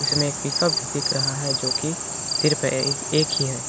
इसमें एक पिकअप भी दिख रहा है जो कि सिर्फ एक ही है।